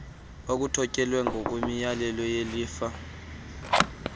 ukuthotyelwa komyolelo welifa